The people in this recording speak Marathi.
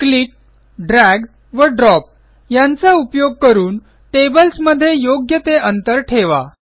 क्लिक ड्रॅग व ड्रॉप यांचा उपयोग करून टेबल्समध्ये योग्य ते अंतर ठेवा